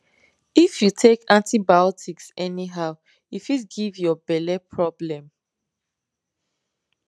if you take antibiotics anyhow e fit give your belle problem